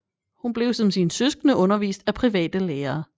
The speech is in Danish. Hun blev som sine søskende undervist af private lærere